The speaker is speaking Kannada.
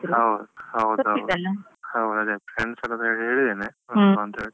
ಹೌದು ಹೌದು ಹೌದು ಅದೆ. Friends ಹತ್ರೆಲ್ಲಾ ಹೇಳಿದ್ದೇನೆ ನೋಡುವ ಎಂತಂತ ಹೇಳಿ